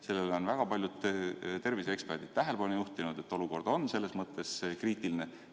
Sellele on väga paljud terviseeksperdid tähelepanu juhtinud, et olukord on kriitiline.